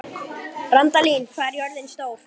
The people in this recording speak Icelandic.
Randalín, hvað er jörðin stór?